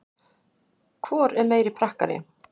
Hvor er meiri prakkari?